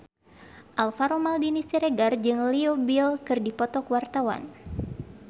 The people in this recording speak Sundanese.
Alvaro Maldini Siregar jeung Leo Bill keur dipoto ku wartawan